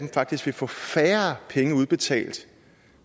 faktisk vil få færre penge udbetalt